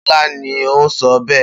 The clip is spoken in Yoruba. Bé̩è̩ni, Bó̩lá ni ó so̩ bé̩è̩